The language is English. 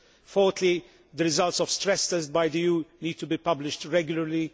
Fourthly, the results of stress tests by the EU need to be published regularly.